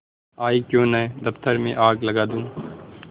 आयीक्यों न दफ्तर में आग लगा दूँ